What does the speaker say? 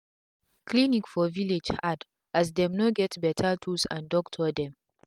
clinic for village hard as dem no get beta tools and doctor dem